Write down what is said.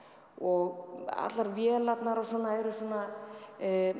og allar vélarnar og svona voru svona